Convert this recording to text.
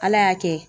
Ala y'a kɛ